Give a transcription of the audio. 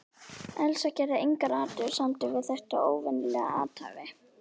Elsa gerði engar athugasemdir við þetta óvenjulega athæfi.